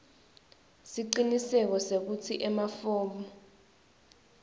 siciniseko sekutsi emafomu